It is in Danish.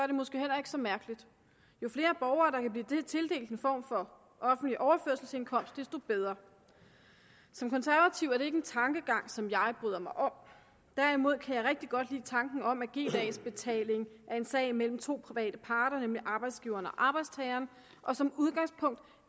det måske heller ikke så mærkeligt jo flere borgere der kan blive tildelt en form for offentlig overførselsindkomst desto bedre som konservativ er det ikke en tankegang som jeg bryder mig om derimod kan jeg rigtig godt lide tanken om at g dags betaling er en sag mellem to private parter nemlig arbejdsgiveren og arbejdstageren og som udgangspunkt